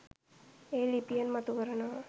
ඒ ලිපියෙන් මතු කරනවා.